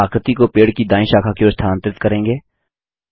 हम आकृति को पेड़ की दायीं शाखा की ओर स्थानांतरित करें